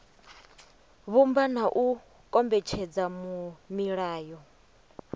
vhumba na u kombetshedza milayo